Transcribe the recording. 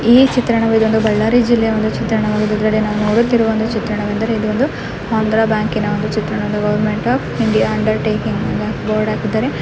ಈ ಚಿತ್ರಣವು ಒಂದು ಬಳ್ಳಾರಿಯ ಜಿಲ್ಲೆಯ ಒಂದು ಚಿತ್ರಣವಾಗಿದೆ ನೋಡುತ್ತಿರುವ ಚಿತ್ರಣವೇನಂದರೆ ಇದೊಂದು ಆಂಧ್ರ ಬ್ಯಾಂಕ್‌ನ ಒಂದು ಚಿತ್ರಣ government of India undertaking ಬೋರ್ಡ್ನು ಹಾಕಿದ್ದಾರೆ .